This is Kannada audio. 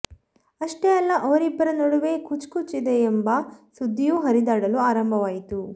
ಅಷ್ಟೇ ಅಲ್ಲ ಅವರಿಬ್ಬರ ನಡುವೆ ಕುಛ್ ಕುಛ್ ಇದೆ ಎಂಬ ಸುದ್ದಿಯೂ ಹರಿದಾಡಲು ಆರಂಭವಾಯಿತು